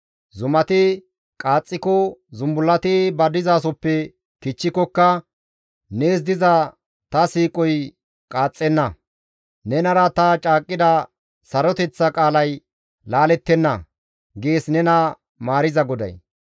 Zumati qaaxxiko, zumbullati ba dizasoppe kichchikokka, nees diza ta siiqoy qaaxxenna; nenara ta caaqqida saroteththa qaalay laalettenna» gees nena maariza GODAY.